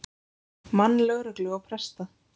mann lögreglu og presta.